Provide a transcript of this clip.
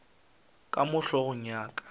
ka mo hlogong ya ka